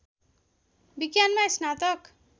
विज्ञानमा स्नातक